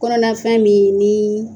Kɔnɔnafɛn min ni.